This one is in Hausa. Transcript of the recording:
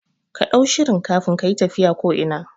Kaɗau shirin kafin kayi tafiya ko ina